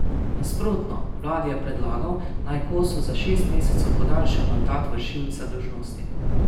Nasprotno, vladi je predlagal, naj Kosu za šest mesecev podaljša mandat vršilca dolžnosti.